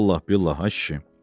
Vallah billah ay kişi.